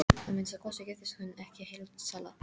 Að minnsta kosti giftist hún ekki heildsala.